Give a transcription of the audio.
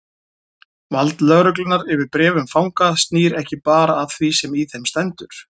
Vald lögreglunnar yfir bréfum fanga snýr ekki bara að því sem í þeim stendur.